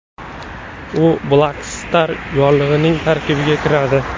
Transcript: U Black Star yorlig‘ining tarkibiga kiradi.